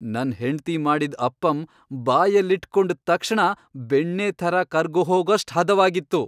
ನನ್ ಹೆಂಡ್ತಿ ಮಾಡಿದ್ ಅಪ್ಪಮ್ ಬಾಯಲ್ಲಿಟ್ಕೊಂಡ್ ತಕ್ಷಣ ಬೆಣ್ಣೆ ಥರ ಕರ್ಗ್ಹೋಗೋಷ್ಟ್ ಹದವಾಗಿತ್ತು.